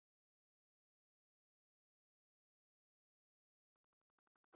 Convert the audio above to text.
Ég gáði lauslega, sá enga sprungu.